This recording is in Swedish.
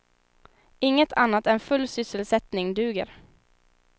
Inget annat än full sysselsättning duger.